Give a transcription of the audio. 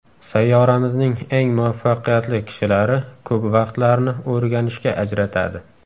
Sayyoramizning eng muvaffaqiyatli kishilari ko‘p vaqtlarini o‘rganishga ajratadi.